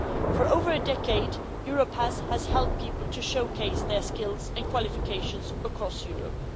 For over a decade, Europe has helped people to showcase their skills and qualifications across Europe.